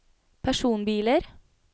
personbiler